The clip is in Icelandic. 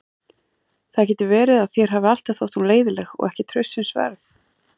Það getur verið að þér hafi alltaf þótt hún leiðinleg og ekki traustsins verð.